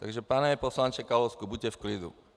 Takže pane poslanče Kalousku, buďte v klidu.